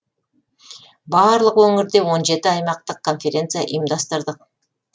барлық өңірде он жеті аймақтық конференция ұйымдастырдық